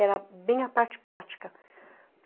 Era bem a parte prática.